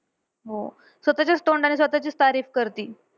हो. स्वतःच्याच तोंडाने स्वतःचीच तारीफ करती.